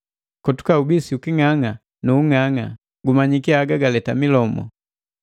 Kotuka ubisi uking'ang'a nu king'ang'a, gumanyiki haga galeta milomu.